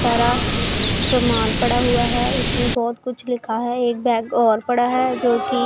सारा सामान पड़ा हुआ है इसमें बहोत कुछ लिखा है एक बैग और पड़ा है जो की--